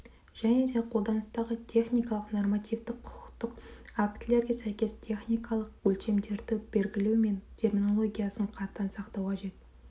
және де қолданыстағы техникалық-нормативтік құқықтық актілерге сәйкес техникалық өдшемдерді белгілеу мен терминологиясын қатаң сақтау қажет